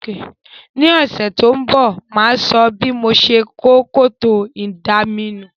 Ní òsẹ̀ to n bò, máa so bí mo se kó kòtò ìdaminù